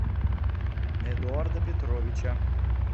эдуарда петровича